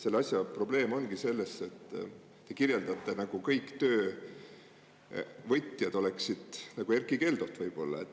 Selle asja probleem ongi selles, et te kirjeldate, nagu kõik töövõtjad oleksid nagu Erkki Keldod võib-olla.